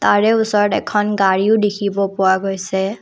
ইয়াৰে ওচৰত এখন গাড়ীও দেখিব পোৱা গৈছে।